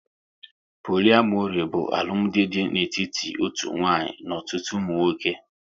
Poliamori bụ alụmdi dị n'etiti otu nwanyị n'ọtụtụ ụmụ nwoke